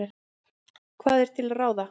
Hvað er til ráða?